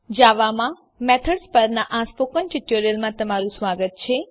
જાવામાં મેથડ્સ પરનાં સ્પોકન ટ્યુટોરીયલમાં સ્વાગત છે